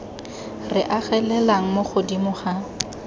re agelelang mo godimo ga